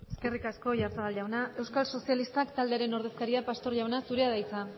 eskerrik asko oyarzabal jauna euskal sozialistak taldearen ordezkaria pastor jauna zurea da hitza